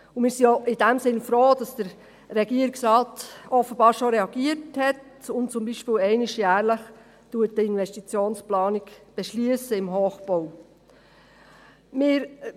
Wir sind in diesem Sinn auch froh, dass der Regierungsrat offenbar schon reagiert hat und zum Beispiel einmal jährlich über die Investitionsplanung im Hochbau befindet.